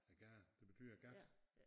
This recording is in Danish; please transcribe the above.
Æ gade det betyder gat